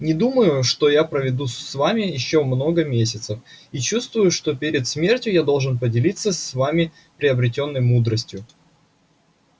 не думаю что я проведу с вами ещё много месяцев и чувствую что перед смертью я должен поделиться с вами приобретённой мудростью